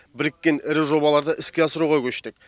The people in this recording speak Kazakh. біріккен ірі жобаларды іске асыруға көштік